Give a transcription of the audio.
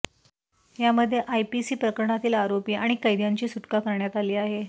यामध्ये आयपीसी प्रकरणातील आरोपी आणि कैद्यांची सुटका करण्यात आली आहे